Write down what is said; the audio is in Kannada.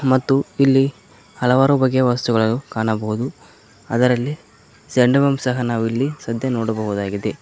ಮತ್ತು ಇಲ್ಲಿ ಹಲವಾರು ಬಗೆಯ ವಸ್ತುಗಳು ಕಾಣಬಹುದು ಅದರಲ್ಲಿ ಜಂಡು ಬಾಮ್ ಸಹ ನಾವು ಇಲ್ಲಿ ಸದ್ಯ ನೋಡಬಹುದಾಗಿದೆ.